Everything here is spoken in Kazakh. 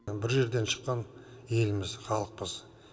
бір жерден шыққан елміз халықпыз